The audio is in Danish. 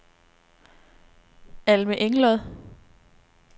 Alme Englod